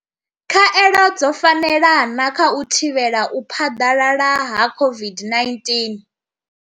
Khaelo dzo fanela na kha u thivhela u phaḓalala ha COVID-19?